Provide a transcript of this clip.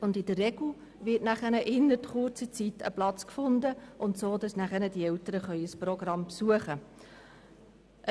In der Regel wird innerhalb von kurzer Zeit ein Platz gefunden, sodass die Eltern ein Programm besuchen können.